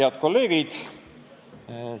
Head kolleegid!